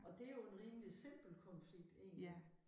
Og det jo en rimelig simpel konflikt egentlig